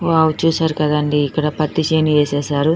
Wow చూసారు కదండీ ఇక్కడ పత్తి చేను ఏసేశారు.